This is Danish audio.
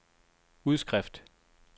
udskrift